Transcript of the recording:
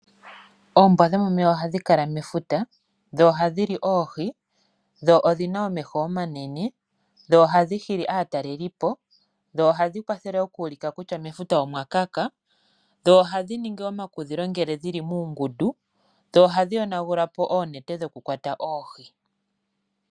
Oombwa dhomomeya ohadhi kala mefuta, dho ohadhi li oohi, dho odhina omeho omanene, dho ohadhi hili aatalelipo dho ohadhi ningi omakudhilo ngele dhili muungundu ee tadhi yonagulapo oonete dhokukwata oohi.